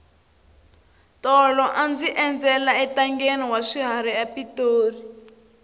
tolo a ndzi endzela entangheni wa swiharhi epitori